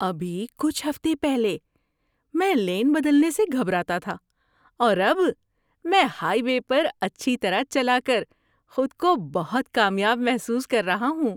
ابھی کچھ ہفتے پہلے، میں لین بدلنے سے گھبراتا تھا، اور اب میں ہائی وے پر اچھی طرح چلا کر خود کو بہت کامیاب محسوس کر رہا ہوں!